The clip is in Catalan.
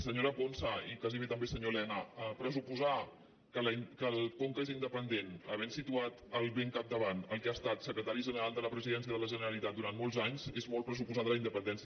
senyora ponsa i gairebé també senyor elena pressuposar que el conca és independent havent ne situat al capdavant el que ha estat secretari general de la presidència de la generalitat durant molts anys és molt pressuposar de la independència